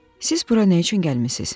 Siz bura nə üçün gəlmisiniz?